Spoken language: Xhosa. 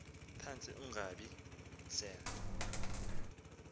phantsi ungobiya sel